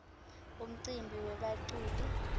umcimbi webaculi